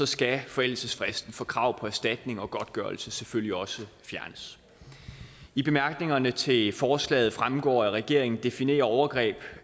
skal forældelsesfristen for krav på erstatning og godtgørelse selvfølgelig også fjernes i bemærkningerne til forslaget fremgår at regeringen definerer overgreb